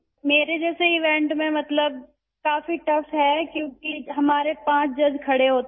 میرے جیسے ایونٹ میں ، مطلب کافی سخت ہے کیونکہ ہمارے پانچ جج کھڑے ہوتے ہیں